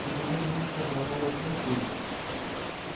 уже много месяцев моя новая цель ты